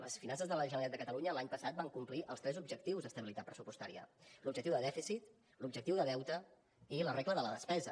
les finances de la generalitat de catalunya l’any passat van complir els tres objectius d’estabilitat pressupostària l’objectiu de dèficit l’objectiu de deute i la regla de la despesa